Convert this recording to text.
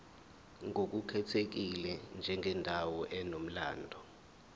ngokukhethekile njengendawo enomlando